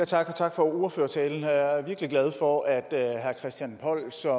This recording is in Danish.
tak tak for ordførertalen jeg er virkelig glad for at herre christian poll som